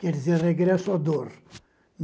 Quer dizer, regresso à dor.